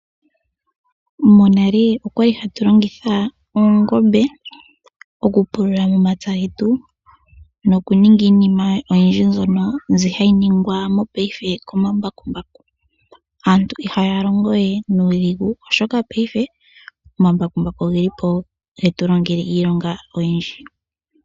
Monale okwali hatu longitha oongombe okupulula omapya getu nokuninga iinima oyindji mbyono mbi hayi ningwa mopaife komambakumbaku. Aantu ihaya longo we nuudhigu oshoka paife omambakumbaku ogeli po getu longele iilonga oyindji.